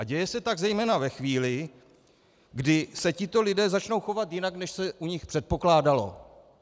A děje se tak zejména ve chvíli, kdy se tito lidé začnou chovat jinak, než se u nich předpokládalo.